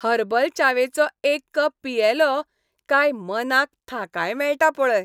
Herbal च्यावेचो एक cup पियेलों काय मनाक थाकाय मेळटा पळय.